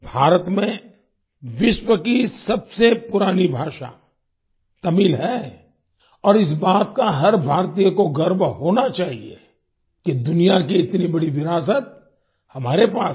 भारत में विश्व की सबसे पुरानी भाषा तमिल है और इस बात का हर भारतीय को गर्व होना चाहिए कि दुनिया की इतनी बड़ी विरासत हमारे पास है